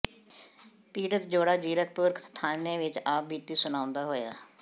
ਪੀੜਤ ਜੋੜਾ ਜ਼ੀਰਕਪੁਰ ਥਾਣੇ ਵਿੱਚ ਆਪ ਬੀਤੀ ਸੁਣਾਉਂਦਾ ਹੋਇਆ